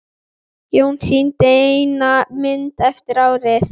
Jón sýndi eina mynd eftir árið.